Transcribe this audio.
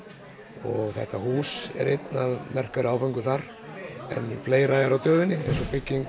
og þetta hús er einn af merkari áföngum þar en fleira er á döfinni eins og bygging